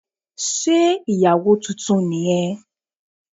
Sé ìyàwó titun ni yẹn